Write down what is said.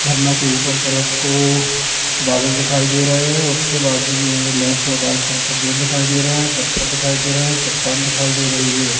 झरना के ऊपर तरफ को बादल दिखाई दे रहे हैं उसके बाजू में लेफ्ट और राइट तरफ को पेड़ दिखाई दे रहे हैं पत्थल दिखाई दे रहे हैं चट्टान दिखाई दे रही है।